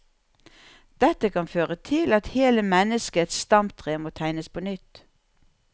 Dette kan føre til at hele menneskets stamtre må tegnes på nytt.